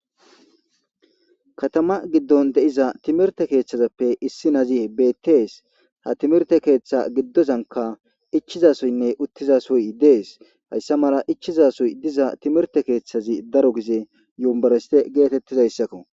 Katama giddon de'iza timirte keethazappe issi nazi bettees. Ha timirte keeththa giddozankka ichchizasoynne uttizassoy dees hayssa mala ichchizasoy diza timirte keeththazi daro gize yuniverstte geetetizayssako.